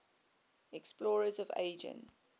explorers of asia